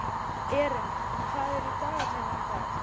Erin, hvað er í dagatalinu í dag?